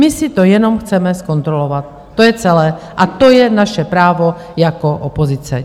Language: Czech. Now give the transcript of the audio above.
My si to jenom chceme zkontrolovat, to je celé, a to je naše právo jako opozice.